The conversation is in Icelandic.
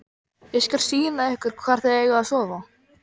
Ég skal sýna ykkur hvar þið eigið að sofa